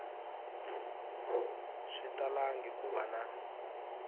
swi talangi ku va na